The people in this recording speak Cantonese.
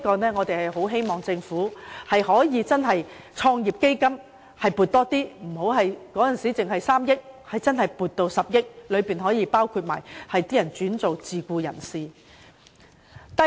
如果政府可以增加創業基金的撥款，由只得3億元增至10億元，便可同時照顧那些轉為自僱的人士的需要。